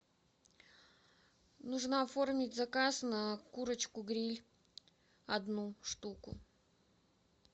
нужно оформить заказ на курочку гриль одну штуку